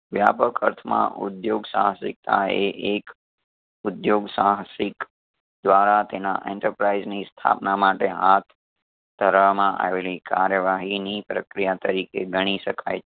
વ્યાપક ખર્ચ માં ઉધ્યોગ સાહસિકતા એ એક ઉધ્યોગ સાહસિક દ્વારા તેના enterprise ની સ્થાપના માટે હાથ ધરાવવામાં આવેલી કાર્યવાહીની પ્રક્રિયા તરીકે ગણી શકાય છે.